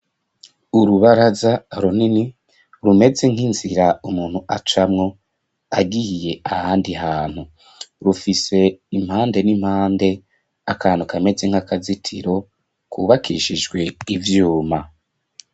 Urubaraza runini rumeze nk'inzira umuntu acamwo agiye ahandi hantu . Rufise impande n'impande akantu kameze nk'akazitiro kubakishijwe ivyuma.